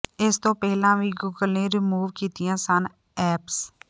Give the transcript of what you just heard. ਇਸ ਤੋਂ ਪਹਿਲਾਂ ਵੀ ਗੂਗਲ ਨੇ ਰਿਮੂਵ ਕੀਤੀਆਂ ਸਨ ਐਪਸ